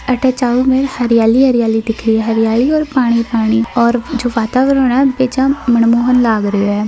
आठ चारो और हरियाली हरियाली दिखे हरियाली ओर पानी पानी ओर जो वातावरण हे बेजा ही मनमोहक लाग रहियो है।